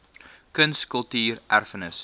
kuns kultuur erfenis